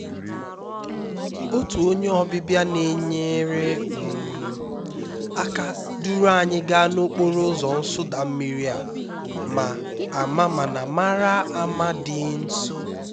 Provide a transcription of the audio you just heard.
otu onye ọbịbịa na-enyere um aka duru anyị gaa n'okporo ụzọ nsụda mmiri a ma ama mana mara mma dị nso